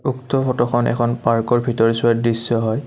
উক্ত ফটোখন এখন পাৰ্কৰ ভিতৰচোৱাৰ দৃশ্য হয়।